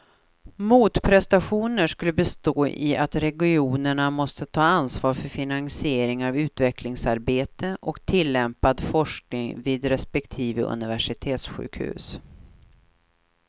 Motprestationen skulle bestå i att regionerna måste ta ansvar för finansiering av utvecklingsarbete och tillämpad forskning vid respektive universitetssjukhus.